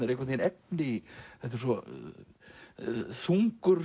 einhvern veginn efni í þetta er svo þungur